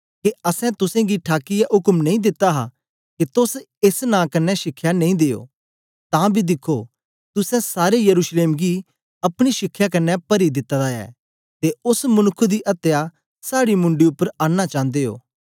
के असैं तुसेंगी ठाकीयै उक्म नेई दिता हा के तोस एस नां कन्ने शिखया नेई दियो तां बी दिखो तुसें सारे यरूशलेम गी अपनी शिखया कन्ने परी दित्ता दा ऐ ते ओस मनुक्ख दी अत्या साड़ी मुंडी उपर आनना चांदे ओ